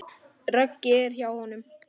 Raggi er hjá honum.